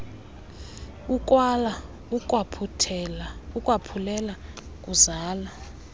ukwala ukwaphulela kuzala